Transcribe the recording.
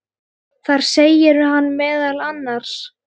Þar segir hann meðal annars